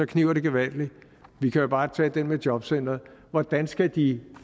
kniber det gevaldigt vi kan jo bare tage den med jobcentrene hvordan skal de